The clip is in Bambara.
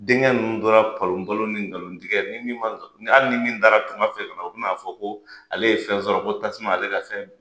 Denkɛ ninnu tora palon palon ni nkalon tigɛ ni ma hali ni min taara tunga fɛ kana, o bi n'a fɔ ko ale ye fɛn sɔrɔ ko tasuma ale ka fɛn minɛ